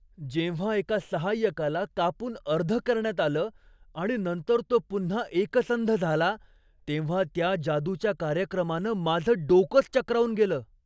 जेव्हा एका सहाय्यकाला कापून अर्ध करण्यात आलं आणि नंतर तो पुन्हा एकसंध झाला तेव्हा त्या जादूच्या कार्यक्रमानं माझं डोकंच चक्रावून गेलं.